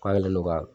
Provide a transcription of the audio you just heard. K'ale no ka